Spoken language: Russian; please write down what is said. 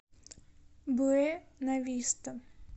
буэнависта